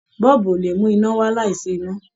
Bọ́ọ̀bù ò lè mú iná wá́ láìsí iná.